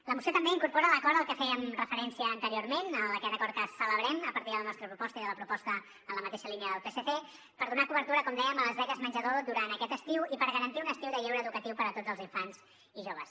la moció també incorpora l’acord a què fèiem referència anteriorment aquest acord que celebrem a partir de la nostra proposta i de la proposta en la mateixa línia del psc per donar cobertura com dèiem a les beques menjador durant aquest estiu i per garantir un estiu de lleure educatiu per a tots els infants i joves